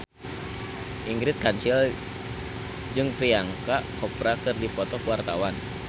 Ingrid Kansil jeung Priyanka Chopra keur dipoto ku wartawan